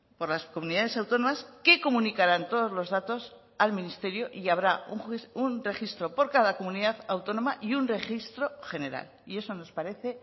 por las comunidades autónomas que comunicarán todos los datos al ministerio y habrá un registro por cada comunidad autónoma y un registro general y eso nos parece